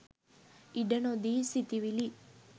ඉඩ නොදී සිතිවිලි